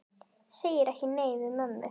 Segir ekki nei við mömmu!